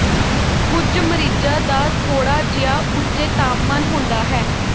ਕੁਝ ਮਰੀਜ਼ਾਂ ਦਾ ਥੋੜ੍ਹਾ ਜਿਹਾ ਉੱਚੇ ਤਾਪਮਾਨ ਹੁੰਦਾ ਹੈ